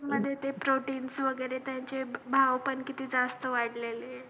आता मध्ये ते protein ना ते त्याचे भाव पण किती जास्त वाढलेले